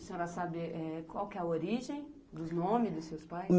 A senhora sabe é é qual que é a origem dos nomes dos seus pais?